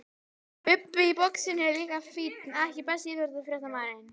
Bubbi í boxinu er líka fínn EKKI besti íþróttafréttamaðurinn?